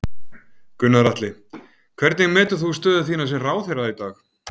Gunnar Atli: Hvernig metur þú stöðu þína sem ráðherra í dag?